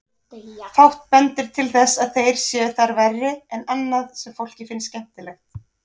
Fátt bendir til þess að þeir séu þar verri en annað sem fólki finnst skemmtilegt.